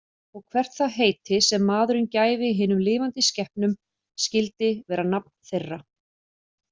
Og hvert það heiti, sem maðurinn gæfi hinum lifandi skepnum, skyldi vera nafn þeirra.